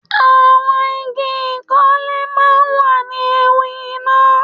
Àwọn igi ìkọ́lé máa ń wà ní ewu iná.